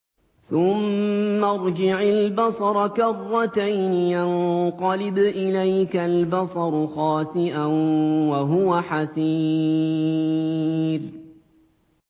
ثُمَّ ارْجِعِ الْبَصَرَ كَرَّتَيْنِ يَنقَلِبْ إِلَيْكَ الْبَصَرُ خَاسِئًا وَهُوَ حَسِيرٌ